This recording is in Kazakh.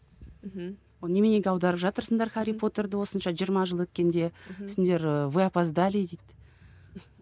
мхм оны неменеге аударып жатырсыңдар хәрри потерді осынша жиырма жыл өткенде сендер ы вы опаздали дейді